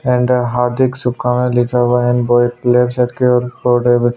and हार्दिक शुभकामनाए लिखा हुआ हैं लेफ्ट साइड की ओर कोने मे--